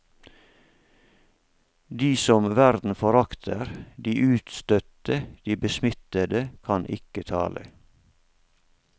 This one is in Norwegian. De som verden forakter, de utstøtte de besmittede kan ikke tale.